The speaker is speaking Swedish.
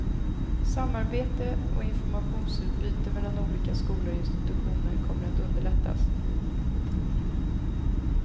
Samarbete och informationsutbyte mellan olika skolor och institutioner kommer att underlättas.